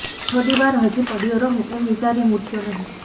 થોડી વાર હજી પડયો રહું એમ વિચારી હું ઊઠયો નહીં